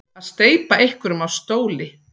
Að steypa einhverjum af stóli